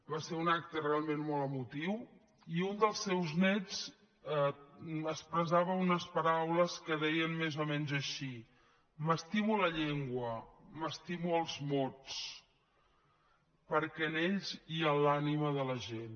va ser un acte realment molt emotiu i un dels seus néts expressava unes paraules que deien més o menys així m’estimo la llengua m’estimo els mots perquè en ells hi ha l’ànima de la gent